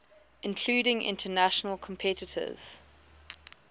including international competitors